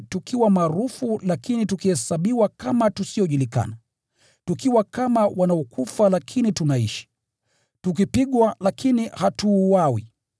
tukiwa maarufu, lakini tukihesabiwa kama tusiojulikana; tukiwa kama wanaokufa, lakini tunaishi; tukipigwa, lakini hatuuawi;